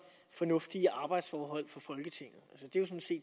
fornuftige arbejdsforhold for folketinget